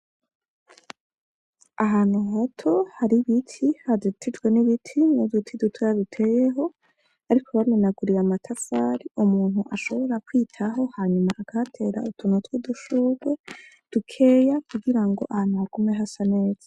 Ahantu hato hari ibiti, hazitijwe n'ibiti n'uduti dutoya duteyeho, ariko bamenaguriye amatafari umuntu ashobora kwitaho, hanyuma akahatera utuntu tw'udushurwe dukeya, kugira ngo ahantu hagume hasa neza.